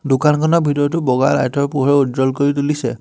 দোকানখনত ভিতৰতো বগা লাইটৰ পোহৰ উজ্জ্বল কৰি তুলিছে।